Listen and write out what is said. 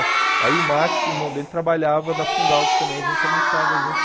Aí o Max e o irmão dele trabalhavam na Fundalc, que também a gente almoçava junto.